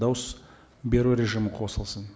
дауыс беру режимі қосылсын